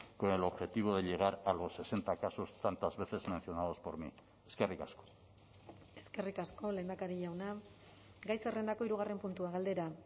con el objetivo de llegar a los sesenta casos tantas veces mencionados por mí eskerrik asko eskerrik asko lehendakari jauna gai zerrendako hirugarren puntua galdera